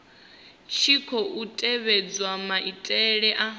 tshi khou tevhedzwa maitele a